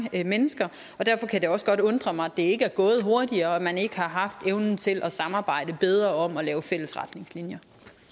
mennesker derfor kan det også godt undre mig at det ikke er gået hurtigere og at man ikke har haft evnen til at samarbejde bedre om at lave fælles retningslinjer